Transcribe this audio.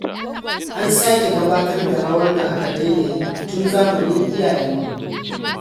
An sake gabatar da rawar da aka daina yi tun zamanin iyayenmu.